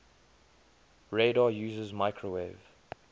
radar uses microwave